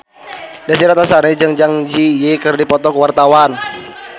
Desy Ratnasari jeung Zang Zi Yi keur dipoto ku wartawan